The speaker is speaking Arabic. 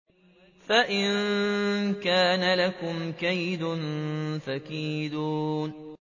فَإِن كَانَ لَكُمْ كَيْدٌ فَكِيدُونِ